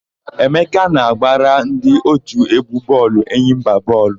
Emeka na-agbara ndị òtù égwú bọọlụ Enyimba bọọlụ.